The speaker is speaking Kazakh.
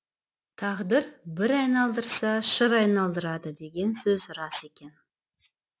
тағдыр бір айналдырса шыр айналдырады деген сөз рас екен